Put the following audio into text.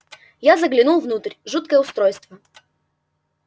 я заглянул внутрь жуткое устройство